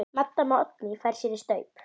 Maddama Oddný fær sér í staup.